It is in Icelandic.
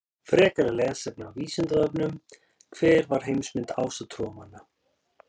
Frekara lesefni á Vísindavefnum: Hver var heimsmynd ásatrúarmanna?